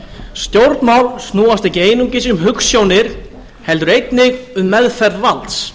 stjórnmál snúast ekki einungis um hugsjónir heldur einnig um meðferð valds